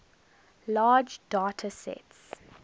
large data sets